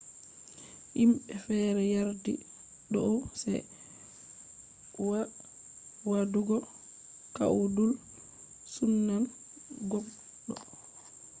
himbe fere yardi dou ce wa wadugo kwoidul sumnan gogdo